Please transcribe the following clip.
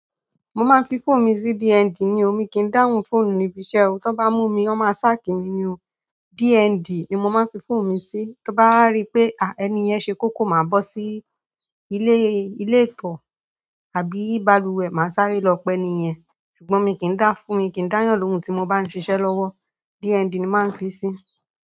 Mo máa ń fi fóònù mi sí DND ní o mi kí n dáhùn fóònù níbi iṣẹ́ o, tí wọ́n bá mú mi, wọ́n máa sáàkì mi ni o. DND ni mo máa ń fi fóònù mi sí. Tí ó bá rí pé, à, ẹni yẹn ṣe kókó, màá bọ́ sí ilé, ilé-ìtọ̣́ àbí balùwẹ̀, màá sáré lọ pẹ́ ni iyen. Ṣùgbọ́n mo mi kí n dá, fóònù mi kì í dáyà lóhun tí mo bá n ṣiṣẹ́ lọ́wọ́. DND ni mo máa ń fi sí.